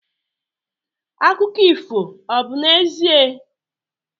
Akụkọ ifo obu 'ezie?